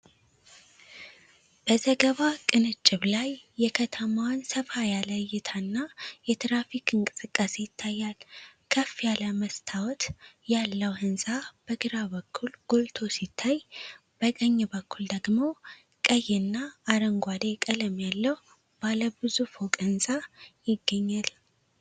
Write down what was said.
በዘገባ ቅንጭብ ላይ የከተማዋን ሰፋ ያለ እይታ እና የትራፊክ እንቅስቃሴ ይታያል። ከፍ ያለ መስታወት ያለው ህንጻ በግራ በኩል ጎልቶ ሲታይ፣ በቀኝ በኩል ደግሞ ቀይ እና አረንጓዴ ቀለም ያለው ባለ ብዙ ፎቅ ህንጻ ይገኛል።